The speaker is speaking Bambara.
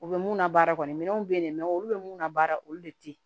U bɛ mun na baara kɔni minɛnw bɛ yen olu bɛ mun na baara olu de tɛ yen